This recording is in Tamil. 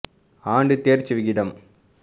ஆண்டு தேர்ச்சிவிகிதம்